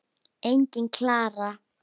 Engin Klara!